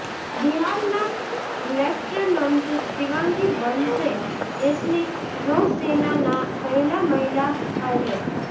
બિહારના લેફ્ટનન્ટ શિવાંગી બનશે દેશની નૌસેનાના પહેલા મહિલા પાયલટ